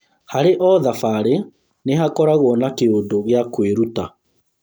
Harĩ o thabarĩ, nĩhakoragwo na kĩũndũ gĩa kwĩruta